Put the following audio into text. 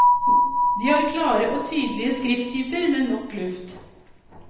De har klare og tydelige skrifttyper med nok luft.